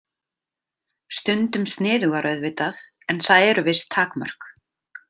Stundum sniðugar auðvitað en það eru viss takmörk.